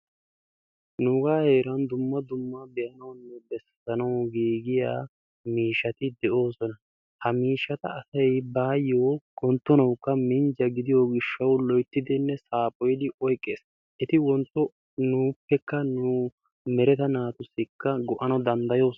nuuga heeran dumma dumma be'anawunne bessanaw giigiyaa miishshati de'oosona. ha miishshata asay baayyo wonttonawukka minjja gidiyo gishshaw loyttidinne saaphoyyidi oyqqees, eti wontto nuuppekka nu mereta naatussi go''ana danddayoosona.